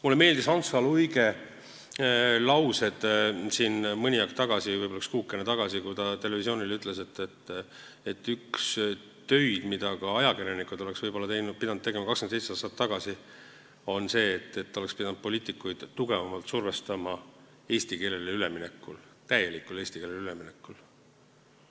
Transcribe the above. Mulle meeldis Hans H. Luige mõte mõni aeg tagasi, võib-olla üks kuukene tagasi, kui ta televisioonile ütles, et üks töid, mida ka ajakirjanikud oleksid võib-olla pidanud tegema 27 aastat tagasi, on see, et oleks pidanud poliitikuid tugevamalt survestama eesti keelele üleminekul, täielikul eesti keelele üleminekul.